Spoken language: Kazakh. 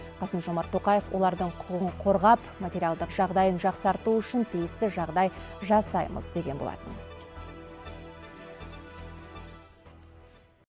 қасым жомарт тоқаев олардың құқығын қорғап материалдық жағдайын жақсарту үшін тиісті жағдай жасаймыз деген болатын